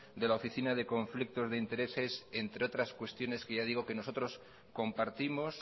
de la oficina de conflictos de intereses entre otras cuestiones que ya digo que nosotros compartimos